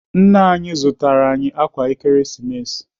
Nna anyị zụtara anyị ákwà Ekeresimesi.